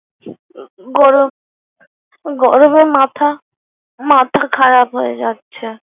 গরম, গরমে মাথা মাথা খারাপ হচ্ছে যাচ্ছে।